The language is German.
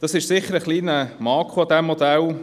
Das ist sicher ein kleiner Makel dieses Modells.